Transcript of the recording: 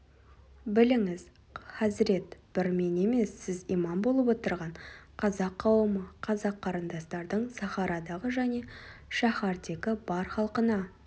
біліңіз хазірет бір мен емес сіз имам болып отырған қазақ қауымы қазақ қарындастардың сахарадағы және шаһардегі бар халқына